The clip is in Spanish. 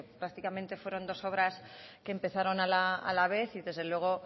prácticamente fueron dos obras que empezaron a la vez y desde luego